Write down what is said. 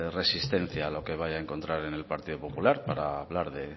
resistencia lo que vaya a encontrar en el partido popular para hablar